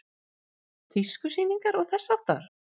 Tískusýningar og þess háttar?